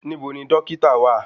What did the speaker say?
Níbo ni dọ́kítà wà?